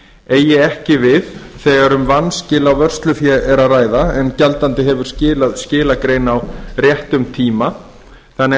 eigi ekki við þegar um vanskil á vörslufé er að ræða en gjaldandi hefur skilað skilagrein á réttum tíma þannig að